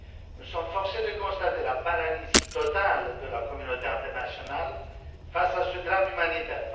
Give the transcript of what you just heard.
Nous sommes forcés de constater la paralysie totale de la communauté internationale face à ce drame humanitaire.